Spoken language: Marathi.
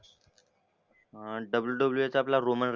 हा WWE आपला रोमन